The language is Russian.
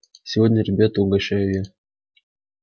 сегодня ребята угощаю я